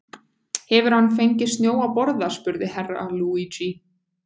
Hefur hann fengið snjó að borða spurði Herra Luigi.